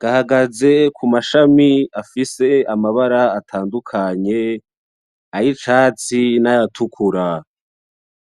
gahagaze kumashami afise amabara atadukanye ay'icatsi nay'atukura.